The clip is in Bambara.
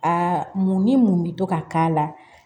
Aa mun ni mun bɛ to ka k'a la